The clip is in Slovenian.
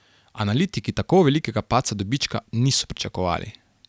Analitiki tako velikega padca dobička niso pričakovali.